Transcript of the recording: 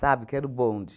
Sabe, que era o bonde.